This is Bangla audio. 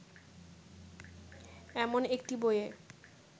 এমন একটি বইয়ে